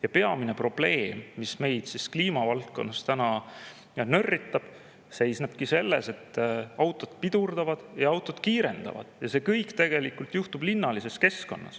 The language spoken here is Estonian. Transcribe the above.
Ja peamine probleem, mis meid kliimavaldkonnas täna nörritab, seisnebki selles, et autod pidurdavad ja autod kiirendavad ja see kõik tegelikult juhtub linnalises keskkonnas.